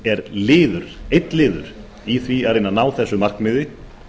er liður einn liður í því að reyna að ná þessu markmiði